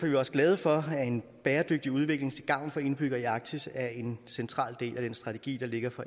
vi også glade for at en bæredygtig udvikling til gavn for indbyggerne i arktis er en central del af den strategi der ligger for